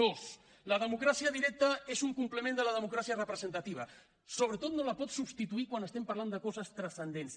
dos la democràcia directa és un complement de la democràcia representativa sobretot no la pot substituir quan estem parlant de coses transcendents